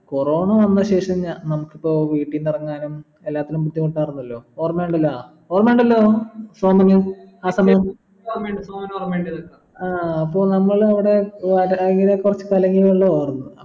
corona വന്ന ശേഷം ന നമ്മക്കിപ്പോ വീട്ടിന്നറങ്ങാനും എല്ലാത്തിലും ബുദ്ധിമുട്ടായിരുന്നല്ലോ ഓർമിണ്ടല്ല ഓർമിണ്ടല്ലോ സോമന് ആ സമയം ആഹ് അപ്പോൾ നമ്മളവിടെ ഇങ്ങന കുറച് കലങ്ങിയ വെള്ളാർന്നു